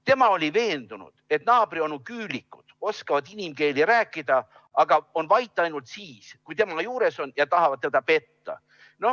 Tema oli veendunud, et naabrionu küülikud oskavad inimkeeli rääkida, aga on vait ainult siis, kui tema juures on, ja tahavad teda petta.